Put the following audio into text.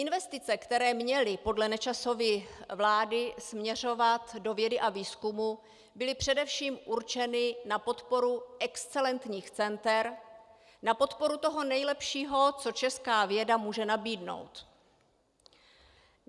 Investice, které měly podle Nečasovy vlády směřovat do vědy a výzkumu, byly především určeny na podporu excelentních center, na podporu toho nejlepšího, co česká věda může nabídnout.